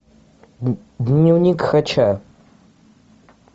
дневник хача